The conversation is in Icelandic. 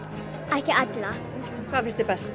ekki allan hvað finnst þér best